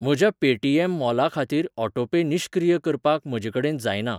म्हज्या पेटीएम मॉला खातीर ऑटोपे निश्क्रीय करपाक म्हजेकडेन जायना.